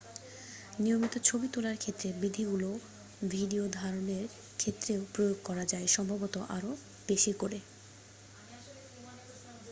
নিয়মিত ছবি তোলার ক্ষেত্রে বিধিগুলো ভিডিও ধারণের ক্ষেত্রেও প্রয়োগ করা যায় সম্ভবত আরো বেশি করে